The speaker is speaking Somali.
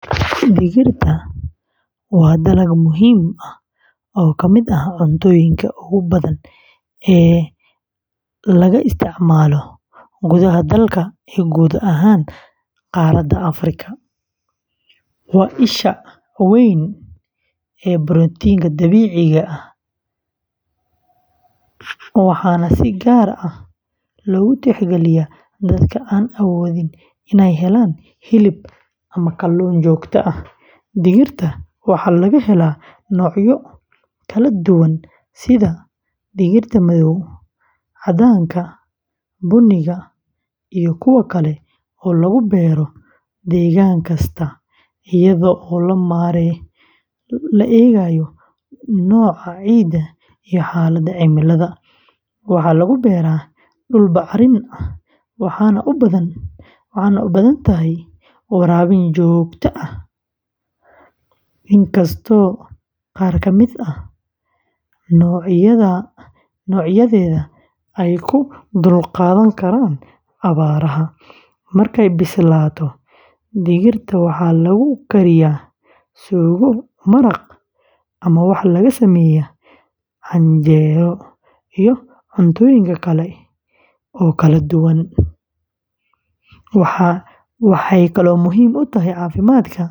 Digirta waa dalag muhiim ah oo ka mid ah cuntooyinka ugu badan ee laga isticmaalo gudaha dalka iyo guud ahaan qaaradda Afrika. Waa isha weyn ee borotiinka dabiiciga ah, waxaana si gaar ah loogu tixgeliyaa dadka aan awoodin inay helaan hilib ama kalluun joogto ah. Digirta waxaa laga helaa noocyo kala duwan sida digirta madow, caddaanka, buniga, iyo kuwa kale oo lagu beero deegaan kasta iyadoo la eegayo nooca ciidda iyo xaaladda cimilada. Waxaa lagu beeraa dhul bacrin ah waxaana u baahan tahay waraabin joogto ah, inkastoo qaar ka mid ah noocyadeeda ay u dulqaadan karaan abaaraha. Markay bislaato, digirta waxaa lagu kariyaa suugo, maraq, ama waxaa laga sameeyaa canjeelo iyo cuntooyin kale oo kala duwan. Waxay kaloo muhiim u tahay caafimaadka.